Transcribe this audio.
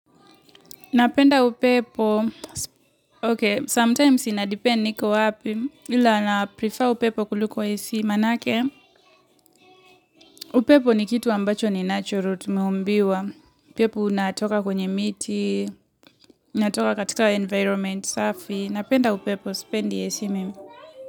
Napenda upepo, ok, sometimes inadipend niko wapi, ila na prefer upepo kuliko esi, manaake, upepo ni kitu ambacho ni natural, tumeumbiwa, upepo unatoka kwenye miti, unatoka katika environmenti safi, napenda upepo, sipendi esi mimi.